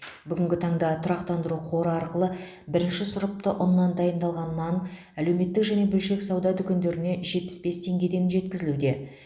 бүгінгі таңда тұрақтандыру қоры арқылы бірінші сұрыпты ұннан дайындалған нан әлеуметтік және бөлшек сауда дүкендеріне жетпіс бес теңгеден жеткізілуде